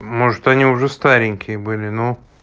может они уже старенькие были ну